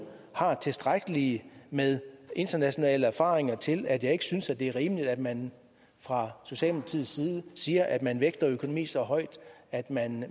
har tilstrækkeligt med internationale erfaringer til at jeg ikke synes det er rimeligt at man fra socialdemokratiets side siger at man vægter økonomi så højt at man